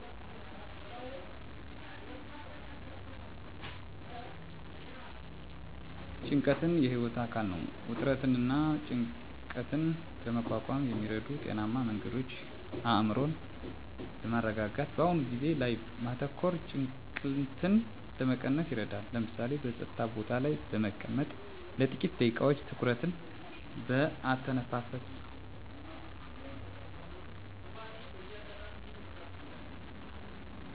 ጭንቀት የህይወት አካል ነው። ውጥረትንና ጭንቀትን ለመቋቋም የሚረዱ ጤናማ መንገዶች አእምሮን በማረጋጋት በአሁኑ ጊዜ ላይ ማተኮር ጭንቀትን ለመቀነስ ይረዳል። ለምሳሌ፣ በጸጥታ ቦታ ላይ በመቀመጥ ለጥቂት ደቂቃዎች ትኩረትን በአተነፋፈስ ላይ ማድረግ። ስፖርት መስራት: የአካል ብቃት እንቅስቃሴ ጭንቀትን ከማስወገድ ባለፈ ስሜትን ያድሳል። እንደ ሩጫ፣ ዮጋ ወይም ሌሎች የአካል ጉዳተኛ ስፖርቶችን ማህበራዊ ግንኙነትን ማጠናከር ከቤተሰብና ከጓደኞች ጋር ጊዜ ማሳለፍ ስሜትን ለማሻሻልና ጭንቀትን ለመቀነስ ይረዳል። በቂ እንቅልፍ ማግኘት። በየቀኑ በተመሳሳይ ሰዓት ለመተኛትና ለመንቃት መሞከር። ጤናማ ምግብ መመገብ የተመጣጠነ ምግብ መመገብ ሰውነትንና አእምሮን ጤናማ ያደርጋል። ብዙ ፍራፍሬዎችን፣ አትክልቶችንና ሙሉ እህሎችን መመገብ። ችግሮችን መፍታት።